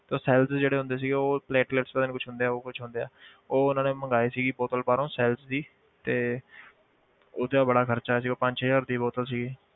ਤਾਂ cells ਜਿਹੜੇ ਹੁੰਦੇ ਸੀ ਉਹ ਪਤਾ ਨੀ ਕੁਛ ਹੁੰਦੇ ਆ ਉਹ ਕੁਛ ਹੁੰਦੇ ਆ ਉਹ ਉਹਨਾਂ ਨੇ ਮੰਗਵਾਏ ਸੀ ਕਿ ਬੋਤਲ ਬਾਹਰੋਂ cells ਦੀ ਤੇ ਉਹ ਤੇ ਬੜਾ ਖ਼ਰਚਾ ਆਇਆ ਸੀਗਾ ਪੰਜ ਹਜ਼ਾਰ ਦੀ ਬੋਤਲ ਸੀਗੀ।